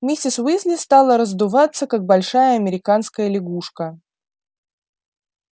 миссис уизли стала раздуваться как большая американская лягушка